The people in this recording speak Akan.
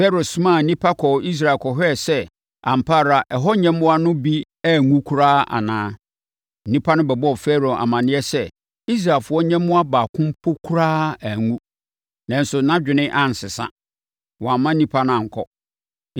Farao somaa nnipa kɔɔ Israel kɔhwɛɛ sɛ ampa ara ɛhɔ nyɛmmoa no bi anwu koraa anaa. Nnipa no bɛbɔɔ Farao amanneɛ sɛ Israelfoɔ nyɛmmoa baako mpo koraa anwu nanso, nʼadwene ansesa. Wamma nnipa no ankɔ.